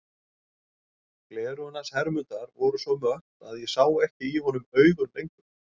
Gleraugun hans Hermundar voru svo mött að ég sá ekki í honum augun lengur.